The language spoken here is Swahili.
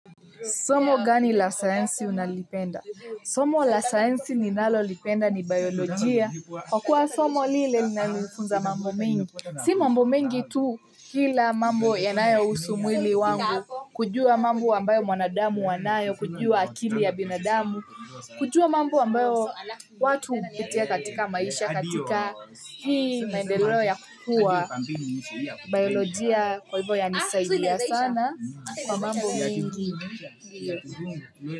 Somo gani la sayansi unalipenda? Somo la sayansi ninalo lipenda ni biolojia. Kwa kuwa somo lile nalifunza mambo mingi. Si mambo mengi tu kila mambo yanayo usu mwili wangu. Kujua mambo ambayo mwanadamu wanayo, kujua akili ya binadamu. Kujua mambo ambayo watu hupitia katika maisha katika hii naendelo ya kukua. Biolojia kwa hivyo ya nisaidia sana kwa mambo mingi. Miezo. Miezo.